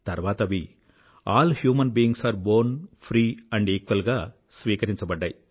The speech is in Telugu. తర్వాత అవి all humans beings are born free and equal గా స్వీకరించబడ్డాయి